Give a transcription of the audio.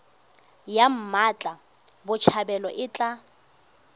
ya mmatla botshabelo e tla